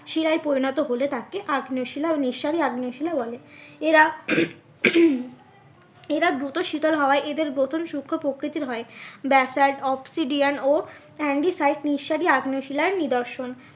শিলায় পরিণত হলে তাকে আগ্নেয় শিলা ও নিঃসারী আগ্নেয় শিলা বলে। এরা এরা দ্রুত শীতল হওয়ায় এদের গঠন সুক্ষ প্রকৃতির হয় basalt obsidian ও antacid নিঃসারী আগ্নেয় শিলার নিদর্শন।